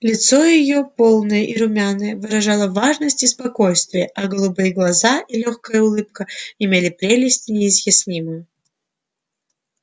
лицо её полное и румяное выражало важность и спокойствие а голубые глаза и лёгкая улыбка имели прелесть неизъяснимую